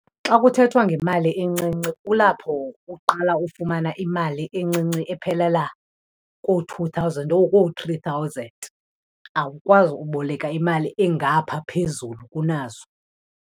Xa kuthethwa ngemali encinci kulapho uqala ufumana imali encinci ephelela koo-two thousand or koo-three thousand. Awukwazi uboleka imali engapha phezulu kunazo.